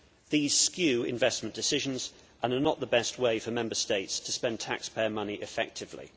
These skew investment decisions and are not the best way for Member States to spend taxpayer money effectively.